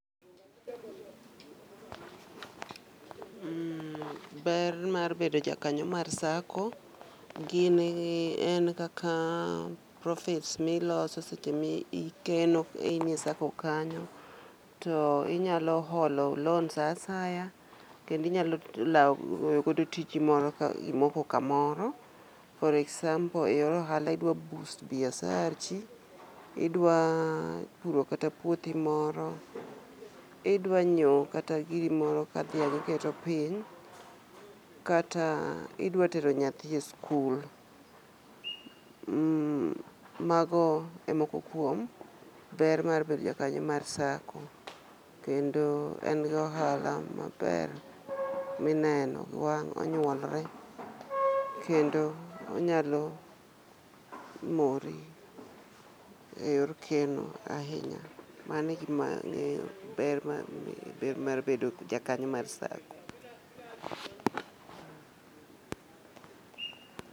Ber mar bedo jakanyo mar sacco gin, en kaka, profits miloso seche mikeno kain e sacco kanyo to inyalo holo loan saa asaya kendo inyalo law godo tiji moro kimoko kamoro for example e ohala idwa boost biasachi, idwa puro kata puothi moro idwa nyiew kata giri moro ka? iketo piny kata idwa tero nyathi e skul. Mago e moko kuom ber mar bedo jakanyo mar sacco kendo en gi ohala maber mineno gi wang, onyuolre kendo onyalo mori e yor keno ahinya. Mano egima angeyo ber mar bedo jakanyo mar sacco